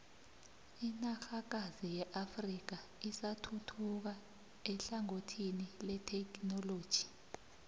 inanrhakazi yeafrika isathuthuka ehlangothini lethekhinoloji